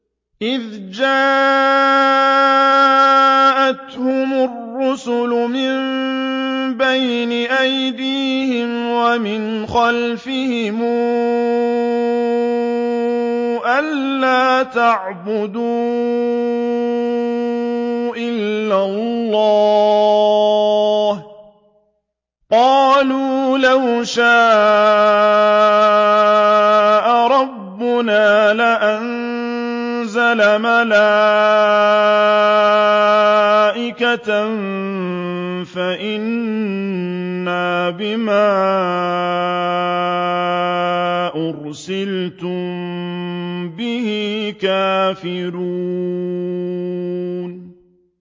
إِذْ جَاءَتْهُمُ الرُّسُلُ مِن بَيْنِ أَيْدِيهِمْ وَمِنْ خَلْفِهِمْ أَلَّا تَعْبُدُوا إِلَّا اللَّهَ ۖ قَالُوا لَوْ شَاءَ رَبُّنَا لَأَنزَلَ مَلَائِكَةً فَإِنَّا بِمَا أُرْسِلْتُم بِهِ كَافِرُونَ